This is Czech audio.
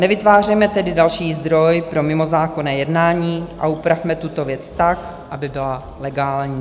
Nevytvářejme tedy další zdroj pro mimozákonné jednání a upravme tuto věc tak, aby byla legální.